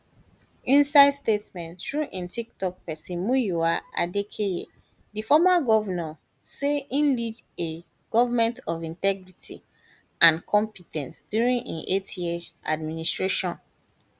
inside statement through im toktok pesin muyiwa adekeye di former govnor say im lead a government of integrity and compe ten ce during im eightyear administration